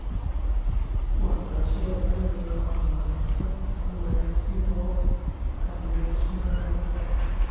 Waxbarashada waa in la horumariyaa si loo taageero dhismaha nabadda .